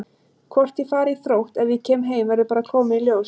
Hvort ég fari í Þrótt ef ég kem heim verður bara að koma í ljós.